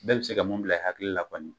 Bɛɛ be se ka mun bila i hakili la kɔni